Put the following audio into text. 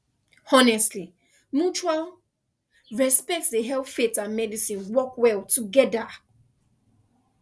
honestly mutual pause respect dey help faith and medicine work well together